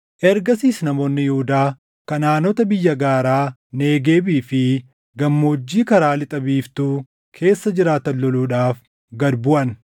Ergasiis namoonni Yihuudaa Kanaʼaanota biyya gaaraa, Negeebii fi gammoojjii karaa lixa biiftuu keessa jiraatan loluudhaaf gad buʼan.